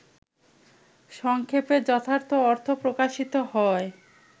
সংক্ষেপে যথার্থ অর্থ প্রকাশিত হয়